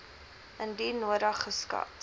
indien nodig geskat